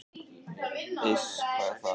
"""Iss, hvað er það?"""